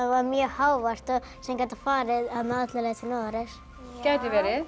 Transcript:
var mjög hávært sem gæti farið alla leið til Noregs gæti verið